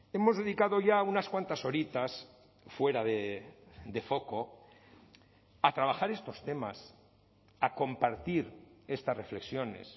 hemos dedicado ya unas cuantas horitas fuera de foco a trabajar estos temas a compartir estas reflexiones